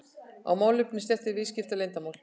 ef málefni snertir viðskiptaleyndarmál.